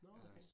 Nåh okay